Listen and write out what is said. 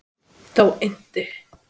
Þá innti